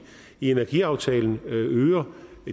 energiaftalen øger